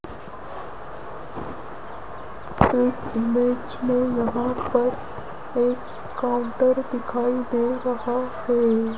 इस इमेज में यहां पर एक काउंटर दिखाई दे रहा है।